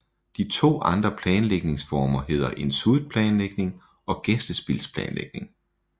De to andre planlægningsformer hedder en suite planlægning og gæstespilsplanlægning